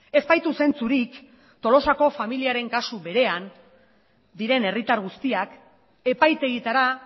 ez baitu zentzurik tolosako familiaren kasu berean diren herritar guztiak epaitegietara